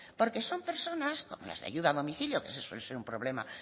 porque son personas como las de ayuda a domicilio que ese suele ser un problema